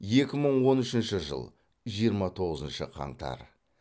екі мың он үшінші жыл жиырма тоғызыншы қаңтар